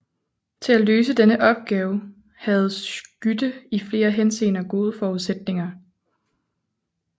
Til at løse denne store opgave havde Schytte i flere henseender gode forudsætninger